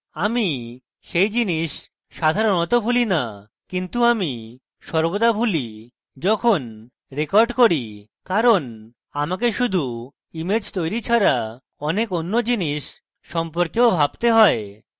আমি সেই জিনিস সাধারণত ভুলি the কিন্তু আমি সর্বদা ভুলি যখন রেকর্ড করি কারণ আমাকে শুধু image তৈরী ছাড়া অনেক অন্য জিনিস সম্পর্কেও ভাবতে হয়